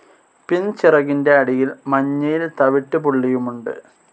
പിൻചിറകിൻ്റെ അടിയിൽ മഞ്ഞയിൽ തവിട്ടുപുള്ളിയുമുണ്ട്.